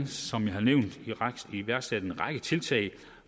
som jeg har nævnt iværksat en række tiltag